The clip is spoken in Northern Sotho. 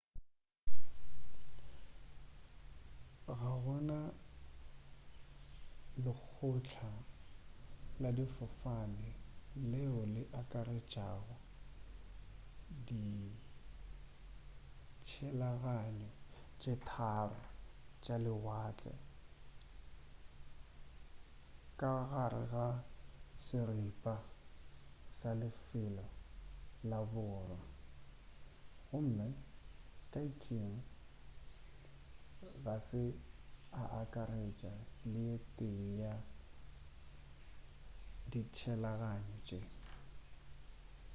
ga gona lekgotla la difofane leo le akaretšago ditshelaganyo tše tharo tša lewatle ka gare ga seripa sa lefelo la borwa gomme skyteam ga se akaretša le ye tee ya ditshelaganyo tše